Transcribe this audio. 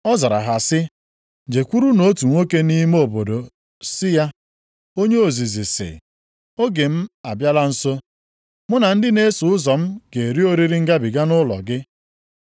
Ọ zara ha sị, “Jekwurunụ otu nwoke nʼime obodo sị ya, Onye ozizi sị, ‘Oge m abịala nso. Mụ na ndị na-eso ụzọ m ga-eri oriri Ngabiga nʼụlọ gị.’ ”